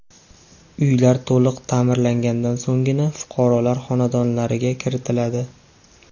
Uylar to‘liq ta’mirlanganidan so‘nggina fuqarolar xonadonlariga kiritiladi.